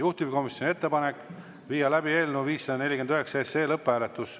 Juhtivkomisjoni ettepanek on viia läbi eelnõu 549 lõpphääletus.